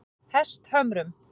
Hesthömrum